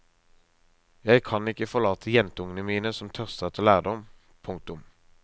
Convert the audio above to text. Jeg kan ikke forlate jentungene mine som tørster etter lærdom. punktum